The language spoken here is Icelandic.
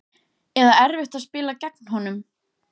Eða erfitt að spila gegn honum?